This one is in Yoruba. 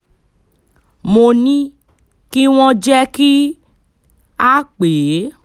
mo ní kí wọ́n jẹ́ kí um a pè é